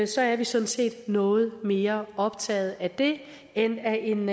så er vi sådan set noget mere optaget af det end af en